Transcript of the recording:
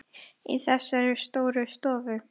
Afi tók við tólinu.